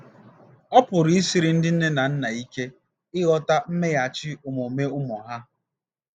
Ọ pụrụ i siri ndị nne na nna ike ịghọta mmeghachi omume ụmụ ha.